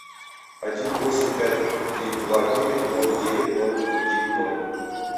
один восемь пять три два девять ноль девять ноль один ноль